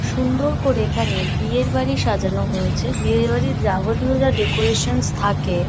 সুন্দর করে এখানে বিয়ের বাড়ি সাজানো হয়েছে। বিয়ে বাড়ির যাবতীয় যা ডেকোরেশনস থাকে--